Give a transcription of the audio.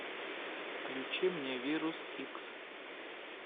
включи мне вирус икс